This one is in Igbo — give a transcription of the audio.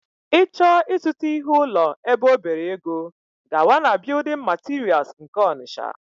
ị chọọ ịzụta ihe ụlọ ebe ọ bere ego, gawa na building materials nke Ọnịtsha